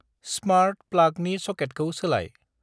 स्मार्त प्लागनि सकेटखौ सोलाय।